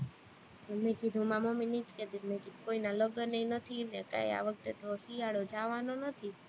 મેં કીધું, હું મારી મમ્મી ને ઈ જ કેતી તી મેં કીધું કોઈના લગન ય નથી ને કાઈ આ વખતે તો શિયાળો જવાનો નથી